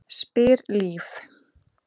spyr Líf.